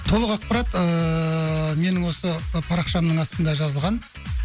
толық ақпарат ыыы менің осы парақшамның астында жазылған